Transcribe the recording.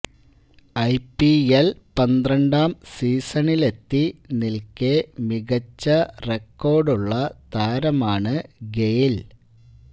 IPL പന്ത്രണ്ടാം സീസണിലെത്തി നില്ക്കേ മികച്ച റെക്കോര്ഡുള്ള താരമാണ് ഗെയ്ല്